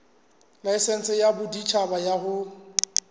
laesense ya boditjhaba ya ho